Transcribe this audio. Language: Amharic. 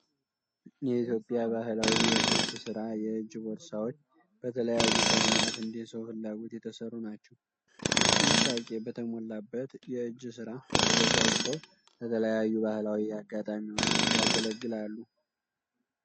የኢትዮጵያ ባህላዊ የጥልፍ ሥራ የእጅ ቦርሳዎች በተለይዩ ቀለማት እንደ ሰዉ ፍላጎት የተሠሩ ናቸው። ጥንቃቄ በተሞላበት የእጅ ሥራ ተዘጋጅተው ለተለያዩ ባህላዊ አጋጣሚዎች ያገለግላሉ።